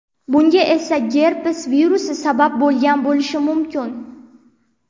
Bunga esa gerpes virusi sabab bo‘lgan bo‘lishi mumkin.